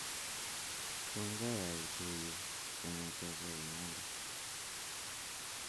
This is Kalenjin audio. Tomkai aitu yu kong'ete imande